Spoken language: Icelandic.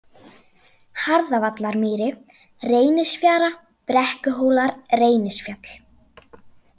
Harðavallarmýri, Reynisfjara, Brekkuhólar, Reynisfjall